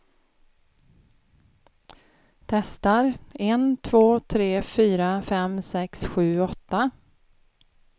Testar en två tre fyra fem sex sju åtta.